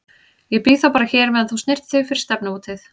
Ég bíð þá bara hér á meðan þú snyrtir þig fyrir stefnumótið.